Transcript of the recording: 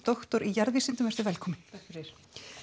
doktor í velkomin takk fyrir